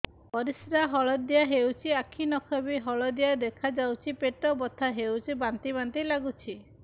ପରିସ୍ରା ହଳଦିଆ ହେଉଛି ଆଖି ନଖ ବି ହଳଦିଆ ଦେଖାଯାଉଛି ପେଟ ବଥା ହେଉଛି ବାନ୍ତି ବାନ୍ତି ଲାଗୁଛି